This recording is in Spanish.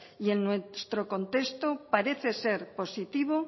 y en nuestro contexto parece ser positivo